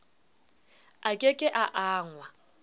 a ke ke a angwa